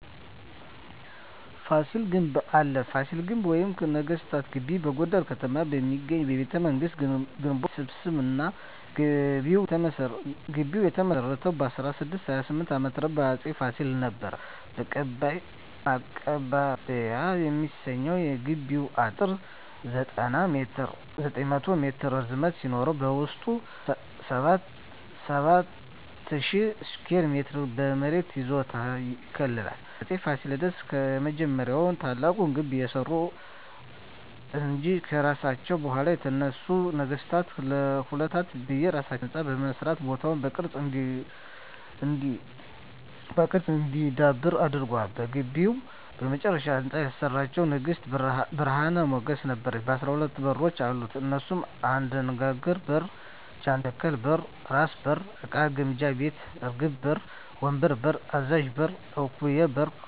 ፋሲል ግንብ አለ ፋሲል ግቢ ወይም ነገስታት ግቢ በጎንደር ከተማ የሚገኝ የቤተ መንግስታት ግንቦች ስብስብ ነዉ ግቢዉ የተመሰረተዉ በ1628ዓ.ም በአፄ ፋሲለደስ ነበር ማቀባበያ የሚሰኘዉ የግቢዉ አጥር 900ሜትር ርዝመት ሲኖረዉበዉስጡ 70,000ስኩየር ሜትር የመሬት ይዞታ ያካልላል አፄ ፋሲለደስ የመጀመሪያዉና ታላቁን ግንብ ያሰሩ እንጂ ከርሳቸዉ በኋላ የተነሱ ነገስታትም ለ220ዓመታት የየራሳቸዉ ህንፃ በመስራት ቦታዉ በቅርስ እንዲዳብር አድርገዋል በግቢዉ የመጨረሻዉን ህንፃ ያሰራቸዉን ንግስት ብርሀን ሞገስ ነበረች 12በሮች አሉት እነሱም 1. አደናግር በር 2. ጃንተከል በር 3. ራስ በር 4. እቃ ግምጃ ቤት 5. እርግብ በር 6. ወንበር በር 7. አዛዥ በር 8. እንኮዬ በር 9. ኳሊ በር 10. ቀጭን አሽዋ በር 11. ባልደራስ በር 12. እምቢልታ በር በመባል ይታወቃሉ